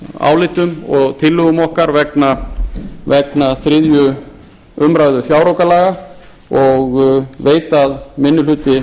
álitum og tillögum okkar vegna þriðju umræðu fjáraukalaga og veit að minni hluti